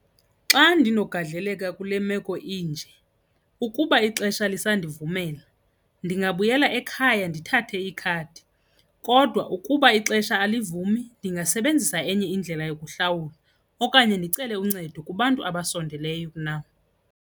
Xa ndinogadleleka kule meko inje, ukuba ixesha lisandivumela, ndingabuyela ekhaya ndithathe ikhadi. Kodwa ukuba ixesha alivumi, ndingasebenzisa enye indlela yokuhlawula okanye ndicele uncedo kubantu abasondeleyo nam.